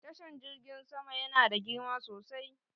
Tashan jirgin sama yana da girma sosai.